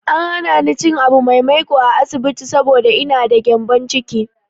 An hana ni cin abu mai maiƙo a asibiti saboda ina da gyambon ciki.